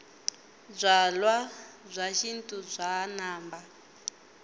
byalwabya xintu bya namba